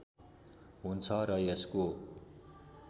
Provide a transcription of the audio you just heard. हुन्छ र यसको